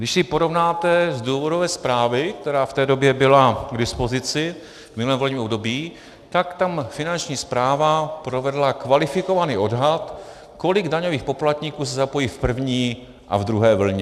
Když si porovnáte z důvodové zprávy, která v té době byla k dispozici v minulém volebním období, tak tam Finanční správa provedla kvalifikovaný odhad, kolik daňových poplatníků se zapojí v první a v druhé vlně.